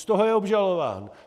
Z toho je obžalován.